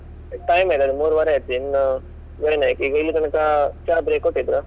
Time ಆಯ್ತು ಆಯ್ತು ಮೂರುವರೆ ಆಯ್ತು ಇನ್ನು . ಈಗ ಇಲ್ಲಿ ತನಕ ಚಾ break ಕೊಟ್ಟಿದ್ರು.